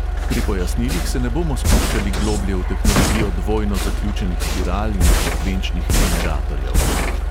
Pri pojasnilih se ne bomo spuščali globlje v tehnologijo dvojno zaključenih spiral in frekvenčnih generatorjev.